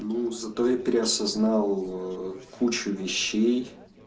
ну зато я переосознал ээ кучу вещей